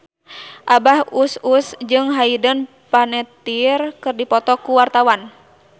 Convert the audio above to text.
Abah Us Us jeung Hayden Panettiere keur dipoto ku wartawan